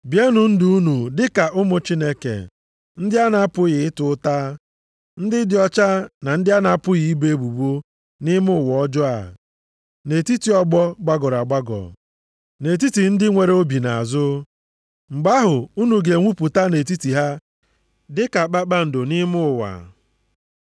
Bienụ ndụ unu dị ka ụmụ Chineke, ndị a na-apụghị ịta ụta, ndị dị ọcha na ndị a na-apụghị ibo ebubo nʼime ụwa ọjọọ a, nʼetiti ọgbọ gbagọrọ agbagọ, + 2:15 \+xt Dit 32:5\+xt* na nʼetiti ndị nwere obi nʼazụ. Mgbe ahụ, unu ga-enwupụta nʼetiti ha dị ka kpakpando nʼime ụwa!